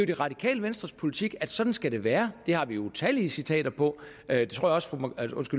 det radikale venstres politik at sådan skal det være det har vi utallige citater på jeg tror også at